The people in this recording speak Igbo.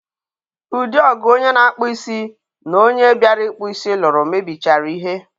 ụdị ọgụ onye na-akpụ isi na onye bịara ịkpụ isi lụrụ mebichara ihe.